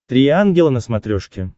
три ангела на смотрешке